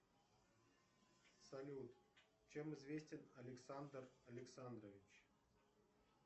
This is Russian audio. салют чем известен александр александрович